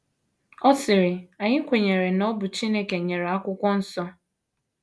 Ọ sịrị: Anyị kwenyere na ọ bụ Chineke nyere Akwụkwọ Nsọ.